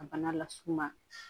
Ka bana las'u ma